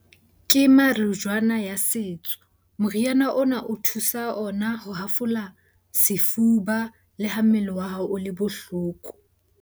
Ke ya setso. Moriana ona o thusa ona ho hafola sefuba le ha mmele wa hao o le bohloko.